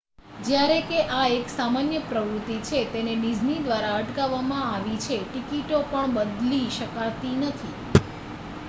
જ્યારે કે આ એક સામાન્ય પ્રવૃત્તિ છે તેને ડિઝની દ્વારા અટકાવવામાં આવી છે ટિકિટો પણ બદલી શકાતી નથી